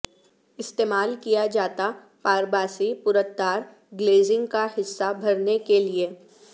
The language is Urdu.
استعمال کیا جاتا پارباسی پرتدار گلیزنگ کا حصہ بھرنے کے لئے